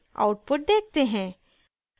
output देखते हैं